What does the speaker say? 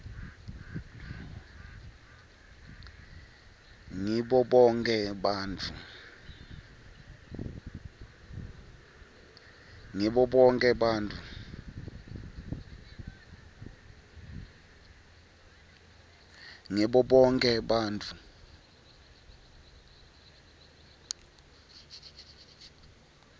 ngibo bonkhe bantfu